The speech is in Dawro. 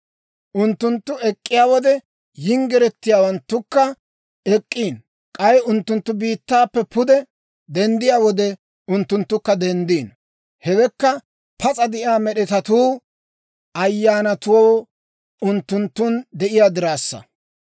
Unttunttu ek'k'iyaa wode, yinggiretsatuukka ek'k'iino; k'ay unttunttu biittaappe pude denddiyaa wode, unttunttukka denddiino. Hewekka pas'a de'iyaa med'etatuu ayyaanatuu unttunttun de'iyaa diraassa.